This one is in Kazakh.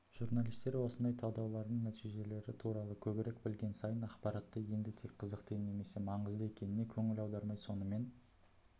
журналистер осындай талдаулардың нәтижелері туралы көбірек білген сайын ақпаратты енді тек қызықты немесе маңызды екеніне көңіл аудармай сонымен